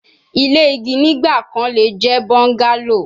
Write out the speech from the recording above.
Ile igi nigbakan le jẹ bungalow